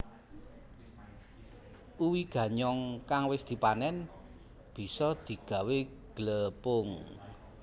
Uwi ganyong kang wis dipanén bisa digawé glepung